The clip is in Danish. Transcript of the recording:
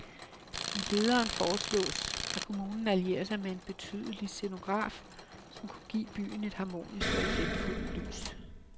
I lederen foreslås, at kommunen allierer sig med en betydelig scenograf, som kunne give byen et harmonisk og effektfuld lys.